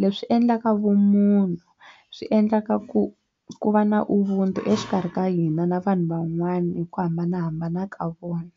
leswi endlaka vumunhu swi endlaka ku ku va na ubuntu exikarhi ka hina na vanhu van'wana hi ku hambanahambana ka vona.